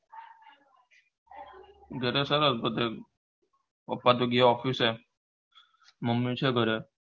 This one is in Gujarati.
ઘરે સરસ બધે પપ્પા તો ગયા office મમ્મી છે ઘરે